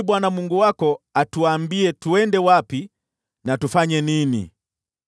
Omba ili Bwana Mungu wako atuambie twende wapi na tufanye nini.”